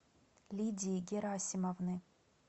лидии герасимовны